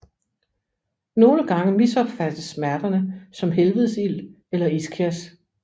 Nogle gange misopfattes smerterne som helvedesild eller ischias